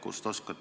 Hea eesistuja!